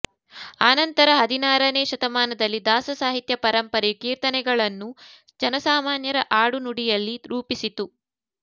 ಆನಂತರ ಹದಿನಾರನೇ ಶತಮಾನದಲ್ಲಿ ದಾಸ ಸಾಹಿತ್ಯ ಪರಂಪರೆಯು ಕೀರ್ತನೆಗಳನ್ನು ಜನಸಾಮಾನ್ಯರ ಆಡುನುಡಿಯಲ್ಲಿ ರೂಪಿಸಿತು